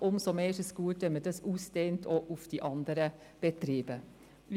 Umso besser ist es, wenn dies nun auch auf die anderen Betriebe ausgedehnt wird.